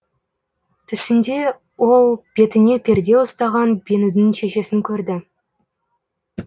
түсінде ол бетіне перде ұстаған бенудің шешесін көрді